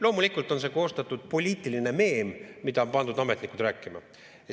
Loomulikult on see poliitiline meem, mida on pandud ametnikud rääkima.